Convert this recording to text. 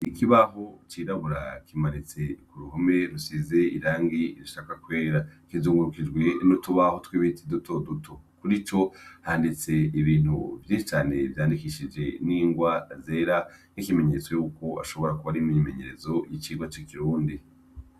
Ikibaho cirabura kimanitse kuruhome rusize irangi rishaka kwera rizungurukijwe nutubaho twibiti dutoduto handitse ibintu bifitanye vyandikishijwe nirwa zera ikimenyetso yuko ashobora kuba ari imyimenyerezo yikirundi